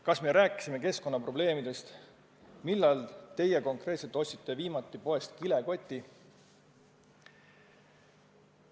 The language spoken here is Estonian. Kas me rääkisime keskkonnaprobleemidest, näiteks millal teie konkreetselt ostsite viimati poest kilekoti?